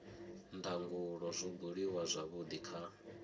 ndangulo zwo buliwa zwavhudi kha